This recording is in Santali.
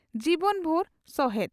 ᱡᱤᱵᱚᱱᱵᱷᱩᱨ ᱥᱚᱦᱮᱫ